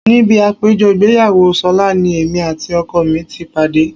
Níbi àpéjọ ìgbéyàwó ṣọlá ni èmi àti ọkọ mi ti pàdé